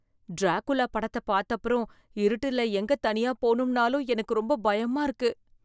Dracula படத்தை பாத்தப்புறம், இருட்டுல எங்க தனியா போணும்னாலும் எனக்கு ரொம்ப பயமா இருக்கு.